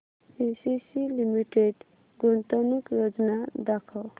ACC limited गुंतवणूक योजना दाखव